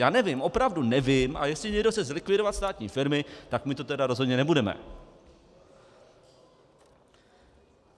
Já nevím, opravdu nevím, a jestli někdo chce zlikvidovat státní firmy, tak my to tedy rozhodně nebudeme.